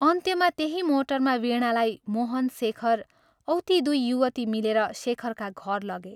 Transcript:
अन्त्यमा त्यही मोटरमा वीणालाई मोहन, शेखर औ ती दुइ युवती मिलेर शेखरका घर लगे।